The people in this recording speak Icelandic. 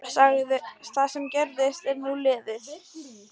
Það sem gerðist er nú liðið.